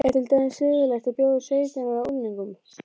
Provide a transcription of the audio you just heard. Er til dæmis siðlegt að bjóða sautján ára unglingum